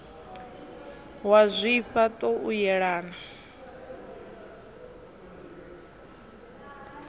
wa zwifha ṱo u yelana